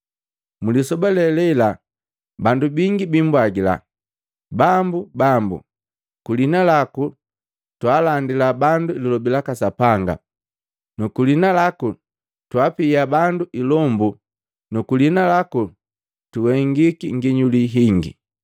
Mlisoba le lela bandu bingi biimbwagila, ‘Bambu, Bambu! Kwiliina laku twaalandila bandu lilobi laka Sapanga nu kwiliina laku twaapia bandu ilombu nu kwiliina laku tuhengika nginyuli hingi.’